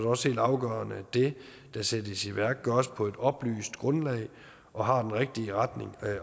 også helt afgørende at det der sættes i værk gøres på et oplyst grundlag og har den rigtige retning